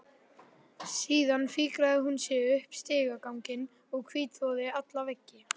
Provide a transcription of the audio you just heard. Síðan fikraði hún sig upp stigaganginn og hvítþvoði alla veggi.